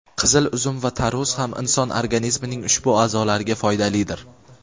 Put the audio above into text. qizil uzum va tarvuz ham inson organizmining ushbu a’zolariga foydalidir.